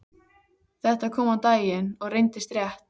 Þetta kom á daginn og reyndist rétt.